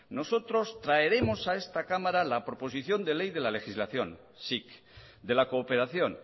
nosotros traeremos a esta cámara la proposición de ley de la legislación sic de la cooperación